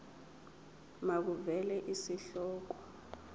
makuvele isihloko isib